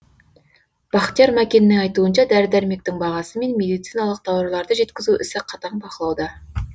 бақтияр мәкеннің айтуынша дәрі дәрмектің бағасы мен медициналық тауарларды жеткізу ісі қатаң бақылауда